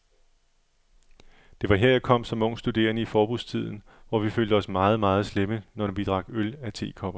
Det var her, jeg kom som ung studerende i forbudstiden, hvor vi følte os meget, meget slemme, når vi drak øl af tekopper.